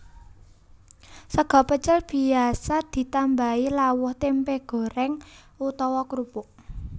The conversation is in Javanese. Sega pecel biasa ditambahi lawuh tèmpé gorèng utawa krupuk